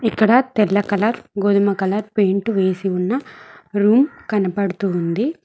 ఇక్కడ తెల్ల కలర్ గోధుమ కలర్ పెయింట్ వేసి ఉన్న రూమ్ కనబడుతుంది.